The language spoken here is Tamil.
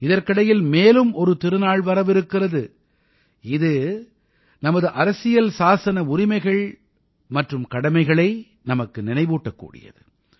இதற்கிடையில் மேலும் ஒரு திருநாள் வரவிருக்கிறது இது நமது அரசியல் சாசன உரிமைகள் மற்றும் கடமைகளை நமக்கு நினைவூட்டக் கூடியது